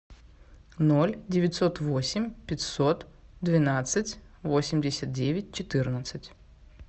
ноль девятьсот восемь пятьсот двенадцать восемьдесят девять четырнадцать